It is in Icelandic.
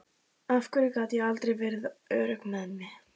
Af hverju gat ég aldrei verið örugg með mig.